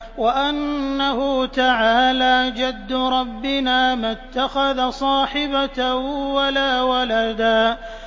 وَأَنَّهُ تَعَالَىٰ جَدُّ رَبِّنَا مَا اتَّخَذَ صَاحِبَةً وَلَا وَلَدًا